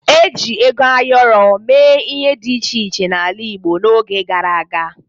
E ji ego ayọrọ mee ihe dị iche iche n'ala Igbo n'oge gara aga.